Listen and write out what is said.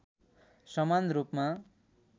समान रूपमा